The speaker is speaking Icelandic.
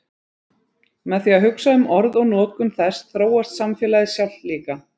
með því að hugsa um orð og notkun þess þróast samfélagið sjálft líka